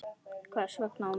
Hvers vegna á morgun?